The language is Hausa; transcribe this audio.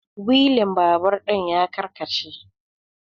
wilin babur ɗin ya karkace